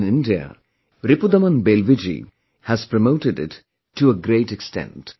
But, in India, Ripudaman Belviji has promoted it to a great extent